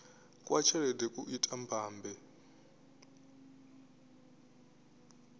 kwa tshelede ku ita mbambe